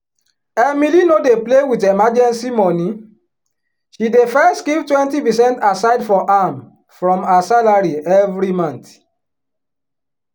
emily no dey play with emergency money she dey first keep 20 percent aside for am from her salary every month.